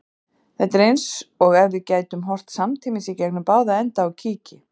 Þetta er eins og ef við gætum horft samtímis í gegnum báða enda á kíki.